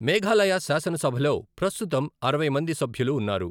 మేఘాలయ శాసనసభలో ప్రస్తుతం అరవై మంది సభ్యులు ఉన్నారు.